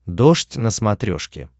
дождь на смотрешке